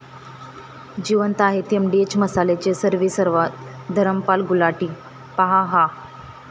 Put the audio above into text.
जिवंत आहेत एमडीएच मसाल्याचे सर्वेसर्वा धरमपाल गुलाटी, पाहा हा